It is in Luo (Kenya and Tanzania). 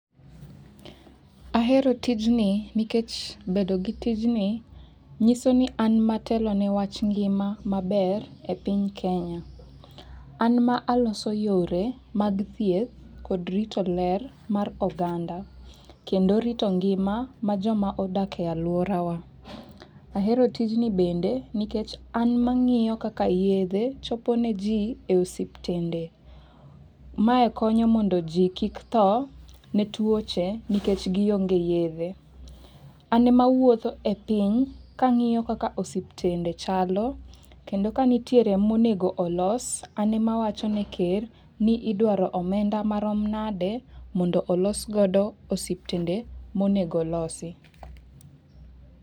Ahero tijni nikech bedo gi tijni nyiso ni an matelo ne wach ngima maber e piny kenya. An ma aloso yore mag thieth mag kod rito ler mar oganda kendo rito ngima ma jomodak e aluorawa. Ahero tijni bende nikech an mang'iyo kaka yedhe chopo ne jii e osiptende. Mae konyo mondo jii kik tho ne tuoche nikech gionge yedhe . An mawuotho e piny kang'iyo kaka osiptende chalo kendo ka nitiere monego olos an mawacho ne ker ni idwaro omenda marom nade mondo olos godo osiptende monego olosi.